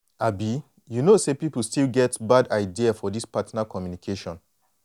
abi you know say people still get bad idea for this partner communication.